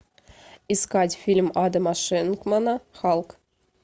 искать фильм адама шенкмана халк